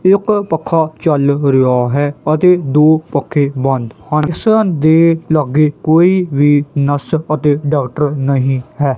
ਇੱਕ ਪੱਖਾ ਚਲ ਰਿਹਾ ਹੈ ਅਤੇ ਦੋ ਪੱਖੇ ਬੰਦ ਹਨ ਇੱਸ ਦੇ ਲਾਗੇ ਕੋਈ ਵੀ ਨਰਸ ਅਤੇ ਡਾਕਟਰ ਨਹੀਂ ਹੈ।